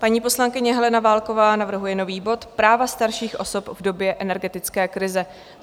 Paní poslankyně Helena Válková navrhuje nový bod - Práva starších osob v době energetické krize.